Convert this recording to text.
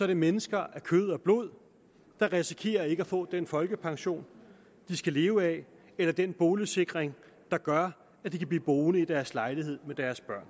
det mennesker af kød og blod der risikerer ikke at få den folkepension de skal leve af eller den boligsikring der gør at de kan blive boende i deres lejlighed med deres børn